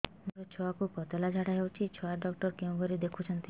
ମୋର ଛୁଆକୁ ପତଳା ଝାଡ଼ା ହେଉଛି ଛୁଆ ଡକ୍ଟର କେଉଁ ଘରେ ଦେଖୁଛନ୍ତି